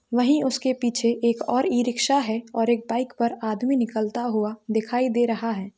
वहीं उसके पीछे एक और ई-रिक्शा है और एक बाइक पर आदमी निकलता हुआ दिखाई दे रहा है।